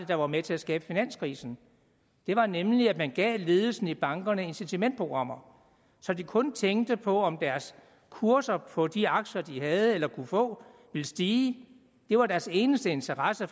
der var med til at skabe finanskrisen det var nemlig at man gav ledelsen i bankerne incitamentsprogrammer så de kun tænkte på om kurserne på de aktier de havde eller kunne få ville stige det var deres eneste interesse